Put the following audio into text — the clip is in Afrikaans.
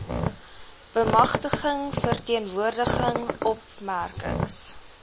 bemagtiging verteenwoordiging opmerkings